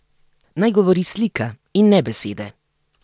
Naj govori slika in ne besede!